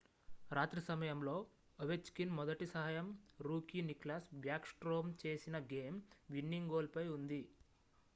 రాత్రి సమయంలో ఒవెచ్కిన్ మొదటి సహాయం రూకీ నిక్లాస్ బ్యాక్ స్ట్రోమ్ చేసిన గేమ్-విన్నింగ్ గోల్ పై ఉంది